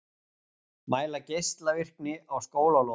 Mæla geislavirkni á skólalóðum